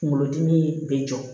Kunkolodimi bɛ jɔ